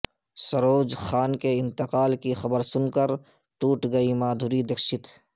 سروج خان کے انتقال کی خبر سن کر ٹوٹ گئیں مادھوری دکشت